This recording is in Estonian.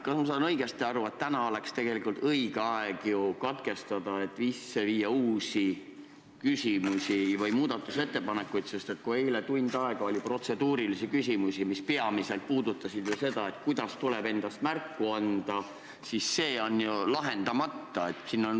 Kas ma saan õigesti aru, et täna oleks tegelikult õige aeg see lugemine katkestada, et esitada uusi küsimusi või teha muudatusettepanekuid, sest eile, kui oli tund aega protseduurilisi küsimusi, siis need puudutasid peamiselt seda, kuidas tuleb endast märku anda, ja see teema on ju lahendamata?